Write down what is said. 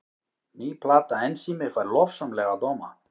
Ný plata Ensími fær lofsamlega dóma